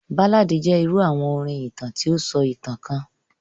Báládì jẹ irú àwọn orin ìtàn ti o sọ ìtàn kan.